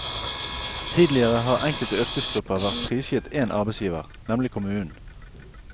Tidligere har enkelte yrkesgrupper vært prisgitt én arbeidsgiver, nemlig kommunen.